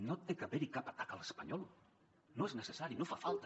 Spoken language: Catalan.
no hi ha d’haver cap atac a l’espanyol no és necessari no fa falta